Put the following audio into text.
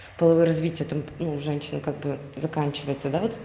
половое развитие у женщин как бы заканчивается да вот